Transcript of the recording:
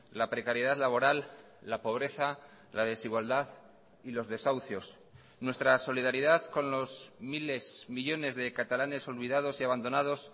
la precariedad laboral la pobreza la desigualdad y los desahucios nuestra solidaridad con los miles millónes de catalanes olvidados y abandonados